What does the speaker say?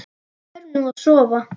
Förum nú að sofa.